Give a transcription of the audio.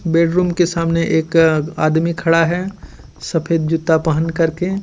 Bedroom के सामने एक आदमी खड़ा है सफेद जूता पहन करके.